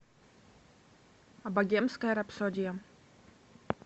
богемская рапсодия